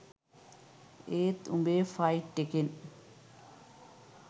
ඒත් උඹේ ෆයිට් එකෙන්